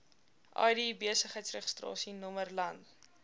id besigheidsregistrasienommer land